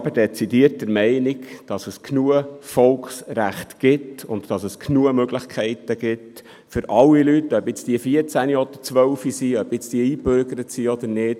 Wir sind jedoch dezidiert der Meinung, dass es genügend Volksrechte und genügend Möglichkeiten gibt für alle Leute, ob sie nun 14 oder 12 Jahre alt sind, und ob sie nun eingebürgert sind oder nicht.